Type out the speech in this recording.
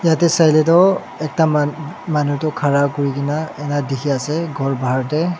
yatae sailae tu ekta man manu tu khara kurikae na ena dikhiase khor bahar tae.